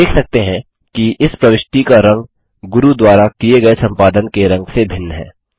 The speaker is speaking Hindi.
हम देख सकते हैं कि इस प्रविष्टि का रंग गुरू द्वारा किये गये संपादन के रंग से भिन्न है